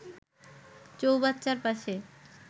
চৌবাচ্চার পাশে